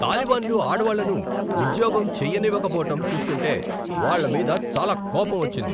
తాలిబాన్లు ఆడవాళ్లను ఉద్యోగం చేయనివ్వకపోవటం చూస్తుంటే, వాళ్ళమీద చాలా కోపమొచ్చింది.